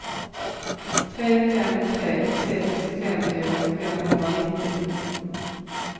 tre fem tre sex femtio femhundranittio